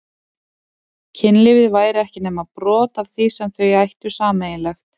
Kynlífið væri ekki nema brot af því sem þau ættu sameiginlegt.